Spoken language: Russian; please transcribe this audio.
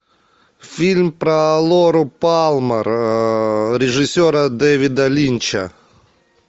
фильм про лору палмер режиссера дэвида линча